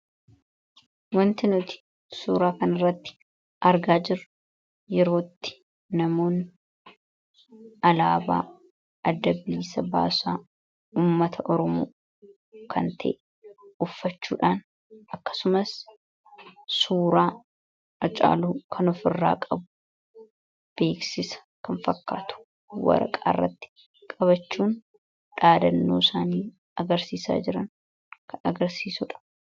Wanti nuti suuraa kanirratti argaa jirru yeroo itti namoonni alaabaa adda bilisummaa ummata oromoo kan ta'e uffachuudhaan akkasumas suuraa hacaaluu kan ofirraa qabu beeksisa kan fakkaatu waraqaa irratti qabachuun dhaadannoo isaanii agarsiisaa jiran agarsiisuudha.